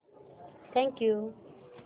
thank you